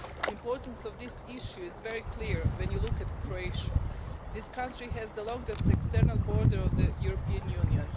The importance of this issue is very clear when you look at Croatia. This country has the longest external border of the European Union.